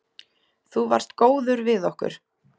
Þú varst góður við okkur.